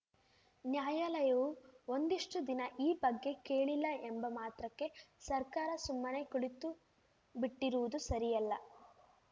ನ್ಯಾಯಾಲಯವು ಒಂದಿಷ್ಟುದಿನ ಈ ಬಗ್ಗೆ ಕೇಳಿಲ್ಲ ಎಂಬ ಮಾತ್ರಕ್ಕೆ ಸರ್ಕಾರ ಸುಮ್ಮನೆ ಕುಳಿತುಬಿಟ್ಟಿರುವುದು ಸರಿಯಲ್ಲ